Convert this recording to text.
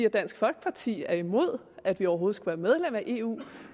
at dansk folkeparti er imod at vi overhovedet være medlem af eu